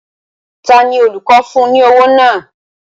Ta ni olùkọ́ fún ní owó náà?